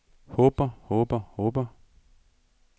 håber håber håber